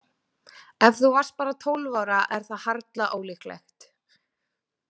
Ef þú varst bara tólf ára er það harla ólíklegt.